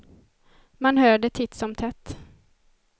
Man hör det titt som tätt.